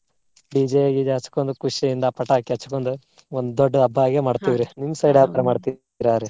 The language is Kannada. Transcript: DJ towel ಗೀಜೆ ಹಚ್ಕೊಂಡು ಖುಷಿಯಿಂದ ಪಟಾಕಿ ಹಚ್ಕೊಂಡು ಒಂದ್ ದೊಡ್ಡ ಹಬ್ಬಾ ಆಗೆ . ನಿಮ್ಮ side ಯಾವ ತರಾ ?